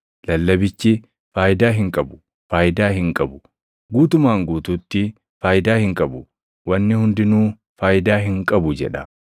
Lallabichi, “Faayidaa hin qabu! Faayidaa hin qabu! Guutumaan guutuutti faayidaa hin qabu! Wanni hundinuu faayidaa hin qabu” jedha.